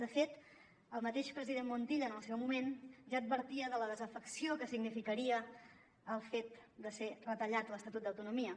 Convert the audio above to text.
de fet el mateix president montilla en el seu moment ja advertia de la desafecció que significaria el fet de ser retallat l’estatut d’autonomia